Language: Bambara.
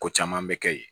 Ko caman bɛ kɛ yen